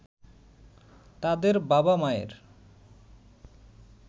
তাদের বাবা-মায়ের